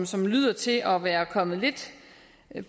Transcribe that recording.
som lyder til at være kommet lidt